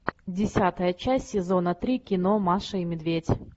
десятая часть сезона три кино маша и медведь